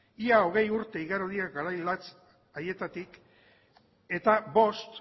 ia hogei urte igaro dira garai latz haietatik eta bost